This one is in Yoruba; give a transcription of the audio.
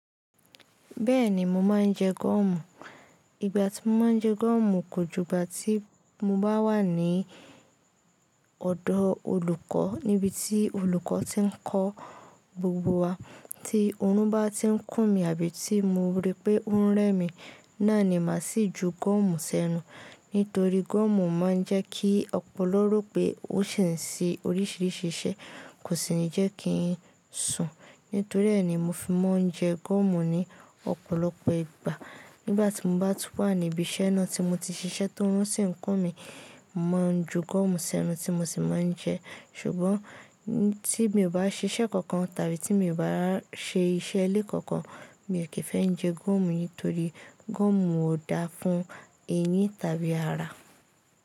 Bẹ́ẹ̀ni, mo máa ń jẹ gúọ̀mù. Ìgbà tí mo máa ń jẹ gúọ̀mù kò jù ìgbà tí mo bá wà ní ọ̀dọ̀ olùkọ́ níbi tí olùkọ́ ti ń kọ́ gbogbo wa. Tí òórùn bá ti ń kún mi àbí tí mo rí pé ó ń rẹ́ mi, náà ni màá sì ju gúọ̀mù sẹ́nu. Nítorí gúọ̀mù máa ń jẹ́ kí ọpọlọ rò pé ó ṣì ń ṣe oríṣiríṣi iṣẹ́, kò sì ní jẹ́ kí n sùn. Nítorí ẹ̀ ni mo fi máa ń jẹ gúọ̀mù ní ọ̀pọ̀lọpọ̀ ìgbà. Nígbà tí mo bá tun wà níbi iṣẹ́ náà tí mo ti ṣiṣẹ́ tí òórùn sì ń kún mi, mo máa ń ju gúọ̀mù sẹ́nu tí mo sì máa ń jẹ ẹ́. Ṣùgbọ́n tí mi ò bá ṣe iṣẹ́ kankan tàbí tí mi ò bá ṣe iṣẹ́ ilé kankan, mi ò kí ń fẹ́ jẹ gúọ̀mù nítorí gúọ̀mù ò dáa fún eyín tàbí ara.